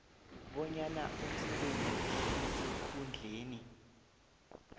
bonyana umsebenzi osesikhundleni